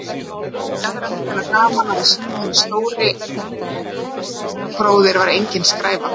Hafði í aðra röndina gaman af að sýna henni að stóri bróðir væri engin skræfa.